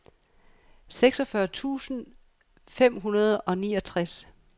seksogfyrre tusind fem hundrede og niogtres